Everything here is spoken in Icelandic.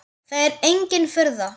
Það er engin furða.